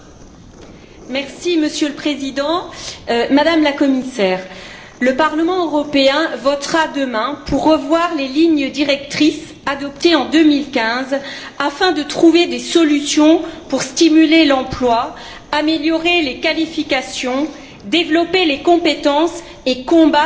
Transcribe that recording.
Monsieur le Président, Madame la Commissaire, le Parlement européen votera demain pour revoir les lignes directrices adoptées en 2015, afin de trouver des solutions pour stimuler l'emploi, améliorer les qualifications, développer les compétences et combattre la pauvreté.